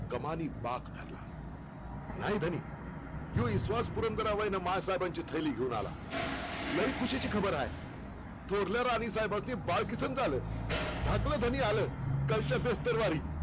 कमानी बाख धरला नाय धनी, ह्यो इश्वास पुरंदरावरण मासाहेबांची थैली घेऊन आला. लई खुशी ची खबर हाय. थोरल्या राणीसाहेबास्नी बालकिशन झाल. धाकल धनी आल. कालच्याबस्तरवारी